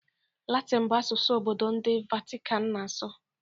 Latịn bụ asụsụ obodo ndị Vatican na-asụ